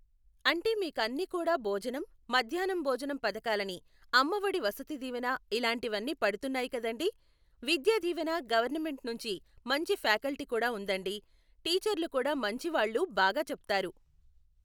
అంటే మీకు అన్ని కూడా భోజనం, మధ్యాహ్నం భోజనం పథకాలని అమ్మఒడి వసతి దివేన ఇలాంటివన్నీ పడుతున్నాయి కదండి, విద్య దీవెన గవర్నమెంట్ నుంచి మంచి ఫ్యాకల్టీ కూడా ఉందండి, టీచర్లు కూడా మంచి వాళ్లు బాగా చెప్తారు.